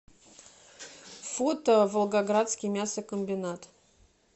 фото волгоградский мясокомбинат